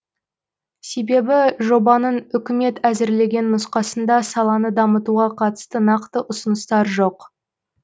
себебі жобаның үкімет әзірлеген нұсқасында саланы дамытуға қатысты нақты ұсыныстар жоқ